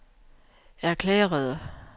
erklærede